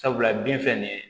Sabula bin filɛ nin ye